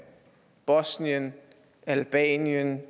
bosnien albanien